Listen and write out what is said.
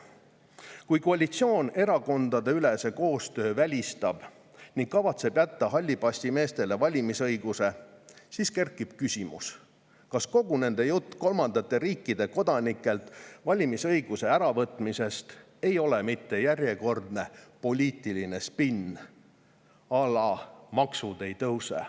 Kui koalitsioon erakondadeülese koostöö välistab ning kavatseb jätta hallipassimeestele valimisõiguse, siis kerkib küsimus, kas kogu nende jutt kolmandate riikide kodanikelt valimisõiguse äravõtmisest ei ole mitte järjekordne poliitiline spinn, à la maksud ei tõuse.